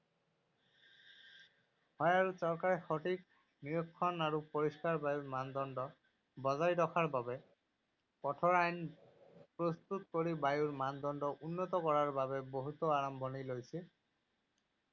হয়, আৰু চৰকাৰে সঠিক নিৰীক্ষণ আৰু পৰিষ্কাৰ বায়ুৰ মানদণ্ড বজাই ৰখাৰ বাবে কঠোৰ আইন প্ৰস্তুত কৰি বায়ুৰ মানদণ্ড উন্নত কৰাৰ বাবে বহুতো আৰম্ভণি লৈছে।